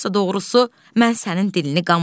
Yoxsa doğrusu mən sənin dilini qanmıram.